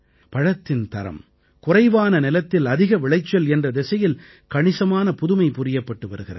பழத்தின் தரம் குறைவான நிலத்தில் அதிக விளைச்சல் என்ற திசையில் கணிசமான புதுமை புரியப்பட்டு வருகிறது